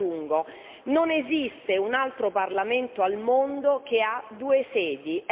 Aggiungo, non esiste un altro parlamento al mondo che ha due sedi!